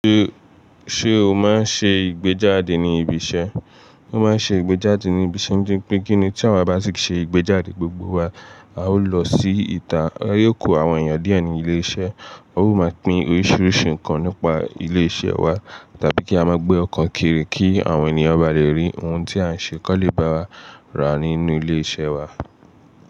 Ṣé, ṣe o máa ń ṣe ìgbéjáde ní ibi iṣẹ́? Wọn máa ń ṣe ìgbéjáde ní ibi iṣẹ́ nítori pé kíní tí àwa bá ti ṣe ìgbéjáde gbogbo wa, a ó lọ sí ìta, a yóò kó àwọn èèyàn dié ní ilé iṣẹ́, wọn ó mọ̀ pín oríṣiríṣi nǹkan nípa ilé iṣẹ́ wa, tàbí kí a mọ gbé ọko kiri kí àwọn ènìyàn ba lè rí ohun tí à ń ṣe kọ́ lé bá wa rà nínú ilé iṣẹ́ wa.